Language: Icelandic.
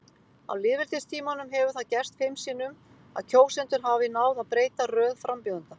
Á lýðveldistímanum hefur það gerst fimm sinnum að kjósendur hafi náð að breyta röð frambjóðenda.